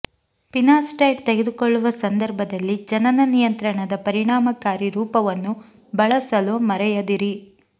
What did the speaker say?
finasteride ತೆಗೆದುಕೊಳ್ಳುವ ಸಂದರ್ಭದಲ್ಲಿ ಜನನ ನಿಯಂತ್ರಣದ ಪರಿಣಾಮಕಾರಿ ರೂಪವನ್ನು ಬಳಸಲು ಮರೆಯದಿರಿ